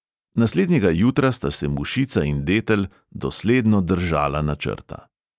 Naslednjega jutra sta se mušica in detel dosledno držala načrta.